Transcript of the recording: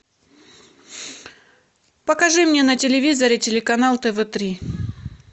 покажи мне на телевизоре телеканал тв три